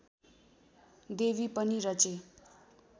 देवी पनि रचे